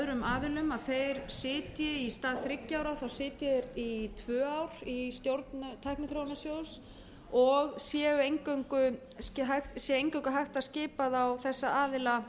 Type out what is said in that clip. af öðrum aðilum að í stað þriggja ára sitji þeir í tvö í stjórn tækniþróunarsjóðs og sé eingöngu hægt að skipa þessa aðila